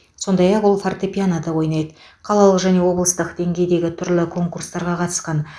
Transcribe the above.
сондай ақ ол фортепианода ойнайды қалалық және облыстық деңгейдегі түрлі конкурстарға қатысқан